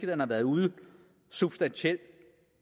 den har været uden substantielt